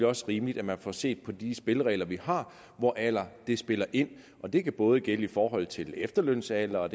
også rimeligt at man får set på de spilleregler vi har hvor alder spiller ind og det kan både gælde i forhold til efterlønsalder og